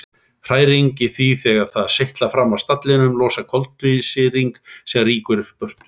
Hræring í því þegar það seytlar fram af stallinum losar koltvísýring sem rýkur burtu.